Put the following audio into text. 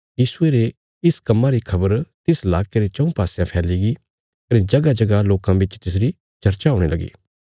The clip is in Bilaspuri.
यीशुये रे इस कम्मां री खबर तिस लाके रे चऊँ पासयां फैलीगी कने जगहजगह लोकां बिच तिसरी चर्चा हुणे लगी